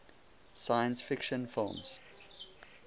science fiction films